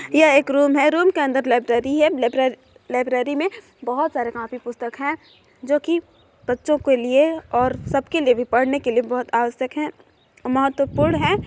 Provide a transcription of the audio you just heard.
ये एक रूम है रूम के अंदर लाइब्रेरी है लाइब्रेरी में बहुत सारे कॉपी पुस्तक है जोकि बच्चों के लिए और सबके लिए भी पढ़ने के लिए बहुत आवश्यक है महत्वपूर्ण हैं।